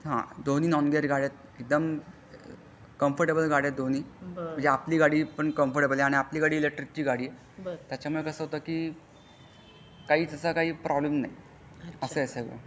हा दोन्ही non gear गाड्या आहे एकदम कंफोर्टब्ले गाड्या आहेत दोन्ही म्हणजे आपली गाडी आपण कंफोर्टब्ले आहे. आणि आपली गाडी पण इलेक्ट्रिकल गाडी आहे. त्यामुळे कसा होता कि काहीच असा काही प्रॉब्लेम नाही असा आहे सर्व